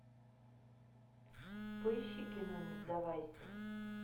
поищи кино не сдавайся